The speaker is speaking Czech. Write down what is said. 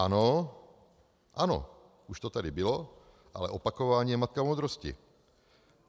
Ano, ano, už to tady bylo, ale opakování je matka moudrosti.